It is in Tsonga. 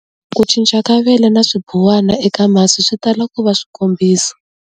Ku cinca ka vele na swibuwana eka masi swi tala ku va swikombiso.